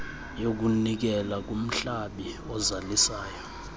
yokunikela kumhlabi ozalisayo